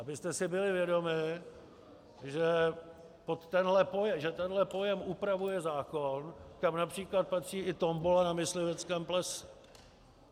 Abyste si byli vědomi, že tenhle pojem upravuje zákon, kam například patří i tombola na mysliveckém plese.